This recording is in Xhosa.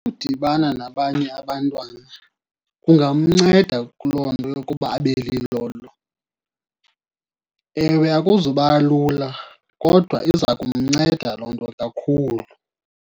Udibana nabanye abantwana kungamnceda kuloo nto yokuba abe lilolo. Ewe, akuzuba lula kodwa iza kumnceda loo nto kakhulu.